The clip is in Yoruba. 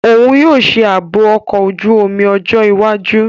Oun yoo ṣe aabo ọkọ oju-omi ọjọ iwaju.